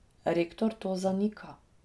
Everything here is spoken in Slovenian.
Rektor to zanika.